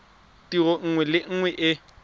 tiro nngwe le nngwe e